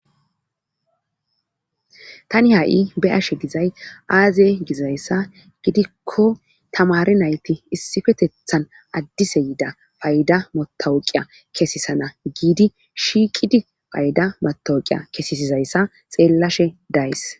Tani ha7i be ashe gizay aazey gizayssa gidikko tamari nayti issifetethan addise yiida payda motawoqiya kesisana giidi shiqidi payda motawuqiya kesesizayssa xeellashe days